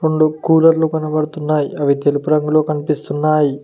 రొండు కూలర్లు కనబడుతున్నాయి అవి తెలుపు రంగులో కనిపిస్తున్నాయ్.